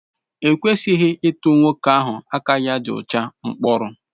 E kwesịghị ịtụ nwoke ahụ aka ya dị ọcha mkpọrọ.